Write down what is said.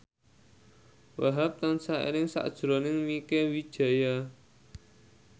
Wahhab tansah eling sakjroning Mieke Wijaya